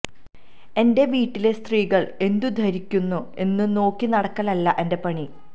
എന്റെ വീട്ടിലെ സ്ത്രീകൾ എന്തു ധരിക്കുന്നു എന്ന് നോക്കി നടക്കലല്ല എന്റെ പണി